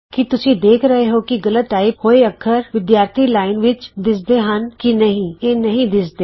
ਕੀ ਤੁਸੀਂ ਦੇਖ ਰਹੇ ਹੋ ਕਿ ਗਲਤ ਟਾਈਪ ਹੋਏ ਅੱਖਰ ਵਿਦਿਆਰਥੀ ਲਾਈਨ ਸਟੂਡੈਂਟਸ ਲਾਈਨ ਵਿਚ ਦਿੱਸਦੇ ਹਨ ਕੀ ਨਹੀਂ ਇਹ ਨਹੀਂ ਦਿੱਸਦੇ